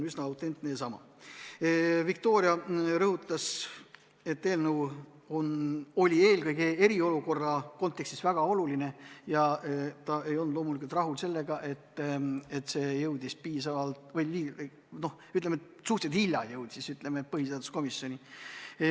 Viktoria rõhutas, et eelnõu on eelkõige eriolukorra kontekstis väga oluline ja ta ei olnud loomulikult rahul sellega, et see jõudis põhiseaduskomisjoni suhteliselt hilja.